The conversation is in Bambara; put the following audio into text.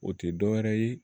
O tɛ dɔ wɛrɛ ye